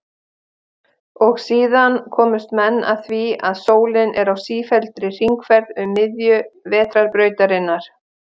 Og síðan komust menn að því að sólin er á sífelldri hringferð um miðju Vetrarbrautarinnar.